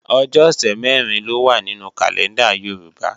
Ọjọ́ ọ̀sẹ̀ mẹ̀rin ló wá nínú kàlẹ́ndà Yorùbá